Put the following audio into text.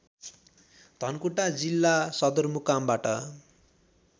धनकुटा जिल्ला सदरमुकामबाट